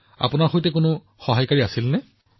আপোনাৰ কোনো সহায়ক আছিল নেকি